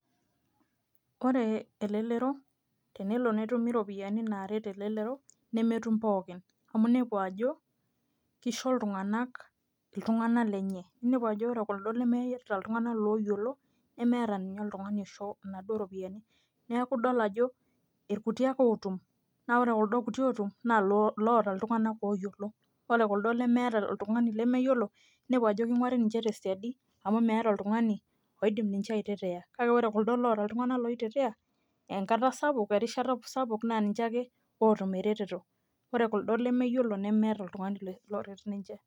Ore elelero, tenelo netumi iropiyiani naaret elelero, nemetum pookin. Amu nepu ajo, kisho iltung'anak iltung'anak lenye. Ninepu ajo ore kuldo lemeeta iltung'anak loyiolo, nemeeta ninye oltung'ani oisho inaduo ropiyiani. Neeku idol ajo irkuti ake otum. Na ore kuldo kuti otum, na loota iltung'anak loyiolo. Ore kuldo lemeeta oltung'ani lemeyiolo, nepu ajo king'uari ninche tesiadi, amu meeta oltung'ani, oidim ninche ai tetea. Kake ore kuldo loota iltung'anak loi tetea, enkata sapuk, erishata sapuk, na ninche ake otum ereteto. Ore kuldo lemeyiolo, nemeeta oltung'ani loret ninche.